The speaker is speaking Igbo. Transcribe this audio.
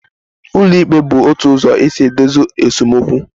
Ụlọikpe bụ otu ụzọ e si edozi esemokwu